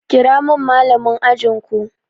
Kira min Mallamin ajin ku!